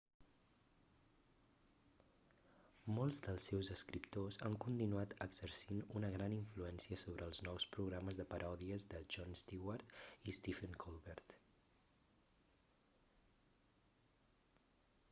molts dels seus escriptors han continuat exercint una gran influència sobre els nous programes de paròdies de jon stewart i stephen colbert